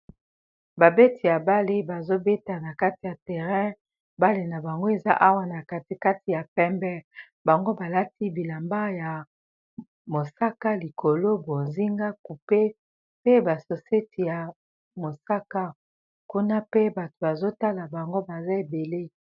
Babeti ya bale bazobeta na kati ya terrain bale na bango eza awa na kati kati ya pembe bango balati bilamba ya mosaka likolo bozinga coupe pe basoseti ya mosaka kuna pe bato bazotala bango baza ebele.